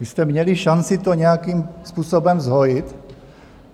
Vy jste měli šanci to nějakým způsobem zhojit.